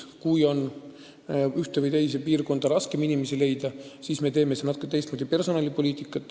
Kui ühte või teise piirkonda on raskem inimesi leida, siis me ajame seal natukene teistmoodi personalipoliitikat.